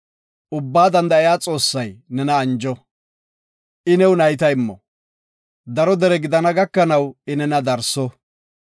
Ubbaa Danda7iya Xoossay nena anjo, I new nayta immo, daro dere gidana gakanaw I nena darso.